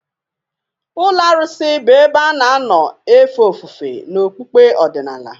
Ụlọ arụsị bụ ebe a na-anọ efe ofufe n'okpukpe ọdịnala.